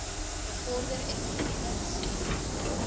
bevorder effektiewe bestuur